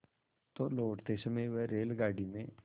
तो लौटते समय वह रेलगाडी में